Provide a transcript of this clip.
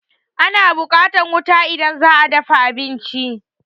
Ana buƙatan wuta idan za'a dafa abinci